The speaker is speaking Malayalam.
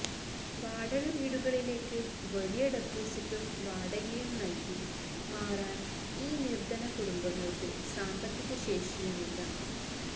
വാടക വീടുകളിലേക്ക് വലിയ ഡെപ്പോസിറ്റും വാടകയും നല്കി മാറാന് ഈ നിര്ധന കുടുംബങ്ങള്ക്ക് സാമ്പത്തിക ശേഷിയുമില്ല